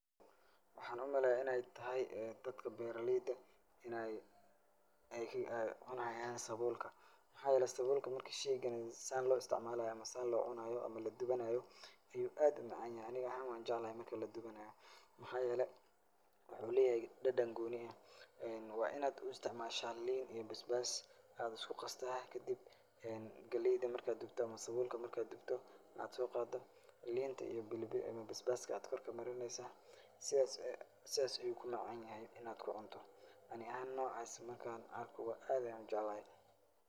Waxaan u maleya inay tahay dadka beeraleyda ini ay cunayan saboolka maxaa yele marka shaygan sida lo isticmaalayo ama san locunayo ama ladubanayo ayu aad u macaan yahay ani ahan waan jeclahay marki ladubanayo maxaa yele waxuu leeyahay dadan gooni ah wa inaad u isticmaasha liin iyo basbas aya isku qasta kadib galeyda markad dubto ama saboolka markaad dubto waxaad sooqado liinta iyo basbaska aya kor kamarineysa sidas ayu ku macaan yahay inaad ku cunto ani ahaan noocas marka aan arko aad ayan u jeclahay.